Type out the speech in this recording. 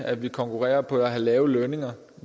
at vi konkurrerer på at have lave lønninger